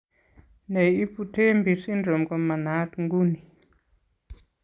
Ne ibu TEMPI syndrome ko manaat ng'uni.